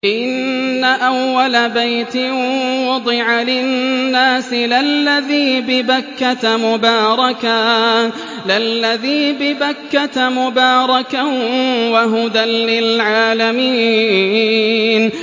إِنَّ أَوَّلَ بَيْتٍ وُضِعَ لِلنَّاسِ لَلَّذِي بِبَكَّةَ مُبَارَكًا وَهُدًى لِّلْعَالَمِينَ